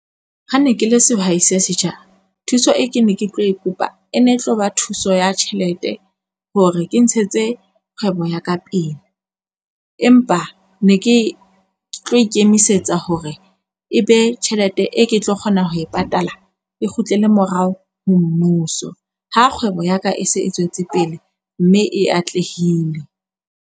Ha ne ke le sehwai se setjha thuso e ke ne ke tlo kopa e ne tlo ba thuso ya tjhelete hore ke ntshetse kgwebo ya ka pele. Empa ne ke ke tlo ikemisetsa hore e be tjhelete e ke tlo kgona ho e patala. E kgutlele morao ho mmuso, ha kgwebo ya ka e se e tswetse pele mme e atlehile.